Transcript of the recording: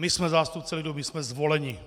My jsme zástupci lidu, my jsme zvoleni.